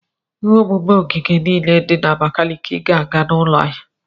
Ihe omume ogige niile dị na Abakaliki ga-aga n'ụlọ ahịa.